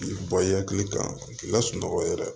K'i bɔ i hakili kan k'i lasunɔgɔ yɛrɛ